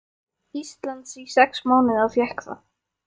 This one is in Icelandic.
Íslands í sex mánuði og fékk það.